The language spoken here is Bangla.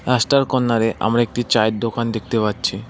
রাস্তার কর্ণার এ আমরা একটি চায়ের দোকান দেখতে পারছি।